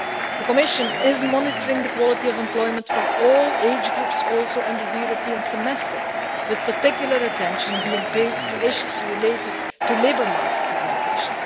The Commission is also monitoring the quality of employment for all age groups under the European Semester, with particular attention being paid to issues related to labour market segmentation.